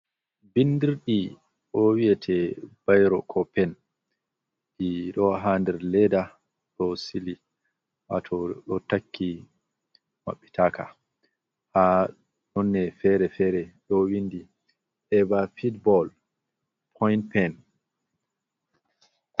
Bindirɗi ɗo wiyete ɓiro ko pen ɗi ɗo ha nder leda ɗo sili wato ɗo takki maɓɓi taka ha nonne fere-fere ɗo windi eva fetball point pen.